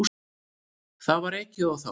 Það var ekið á þá.